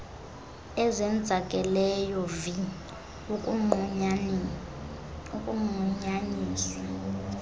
ezenzakeleyo vi ukunqunyanyiswa